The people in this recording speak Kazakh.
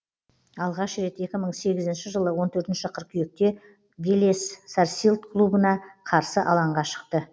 алғаш рет екі мың сегізінші жылы он төртінші қыркүйекте велес сарсилд клубына қарсы алаңға шықты